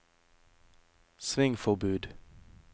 svingforbud